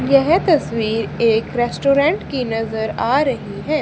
यह तस्वीर एक रेस्टोरेंट की नजर आ रही है।